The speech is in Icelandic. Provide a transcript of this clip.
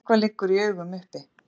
Eitthvað liggur í augum uppi